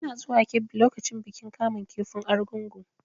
Ina zuwa Kebbi lokacin bikin kamun kifin argungu.